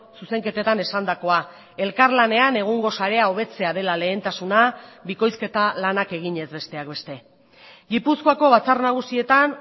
zuzenketetan esandakoa elkarlanean egungo sarea hobetzea dela lehentasuna bikoizketa lanak eginez besteak beste gipuzkoako batzar nagusietan